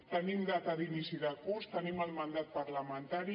tenim data d’inici de curs tenim el mandat parlamentari